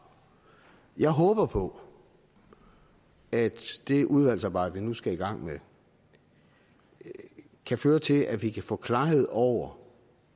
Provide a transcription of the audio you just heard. jeg håber på at det udvalgsarbejde vi nu skal i gang med kan føre til at vi kan få klarhed over